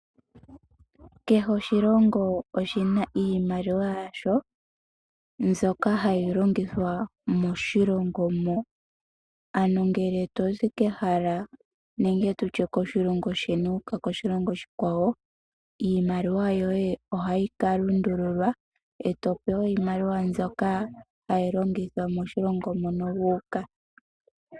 Kehe oshilongo oshina iimaliwa yasho mbyoka hayi longithwa moshilongo mo. Ano ngele tozi kehala nenge koshilongo sheni wu uka koshilongo oshikwawo, iimaliwa yoye ohayi ka lundululwa, e to pewa iimaliwa mbyoka hayi longithwa moshilongo mono wu uka.